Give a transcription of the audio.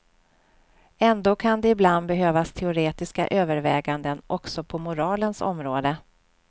Ändå kan det ibland behövas teoretiska överväganden också på moralens område.